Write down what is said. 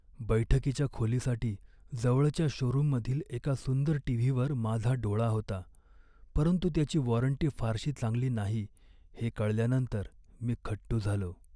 बैठकीच्या खोलीसाठी जवळच्या शोरुममधील एका सुंदर टी.व्ही.वर माझा डोळा होता, परंतु त्याची वॉरंटी फारशी चांगली नाही हे कळल्यानंतर मी खट्टू झालो.